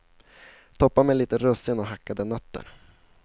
Toppa med lite russin och hackade nötter.